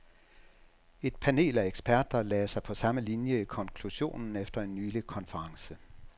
Et panel af eksperter lagde sig på samme linie i konklusionen efter en nylig konference.